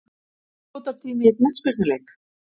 Uppbótartími í knattspyrnuleik?